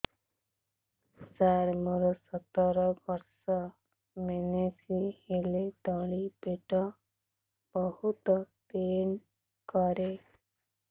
ସାର ମୋର ସତର ବର୍ଷ ମେନ୍ସେସ ହେଲେ ତଳି ପେଟ ବହୁତ ପେନ୍ କରେ